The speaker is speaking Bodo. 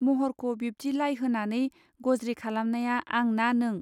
महरखौ बिब्दि लाइ होनानै गज्रि खालामनाया आं ना नों.